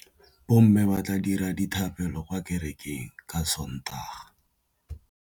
Bommê ba tla dira dithapêlô kwa kerekeng ka Sontaga.